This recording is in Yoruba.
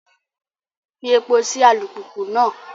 Fí èpo sí alupupu náà!